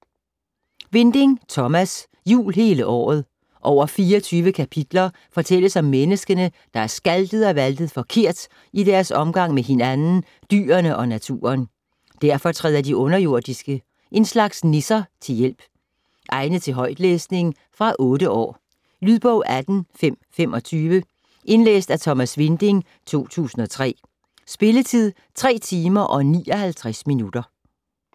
Winding, Thomas: Jul hele året Over 24 kapitler fortælles om menneskene, der har skaltet og valtet forkert i deres omgang med hinanden, dyrene og naturen. Derfor træder de underjordiske - en slags nisser - til hjælp. Egnet til højtlæsning. Fra 8 år. Lydbog 18525 Indlæst af Thomas Winding, 2003. Spilletid: 3 timer, 59 minutter.